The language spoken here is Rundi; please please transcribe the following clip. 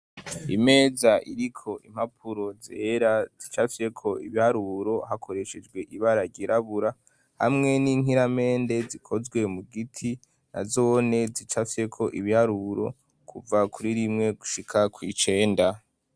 Imeza iri ko impapuro zera zicafyeko ibiharuro hakoreshejwe ibararirabura hamwe n'inkiramende zikozwe mu giti na zone zicafyeko ibiharuro kuva kuri rimwe gushika kw'icenda.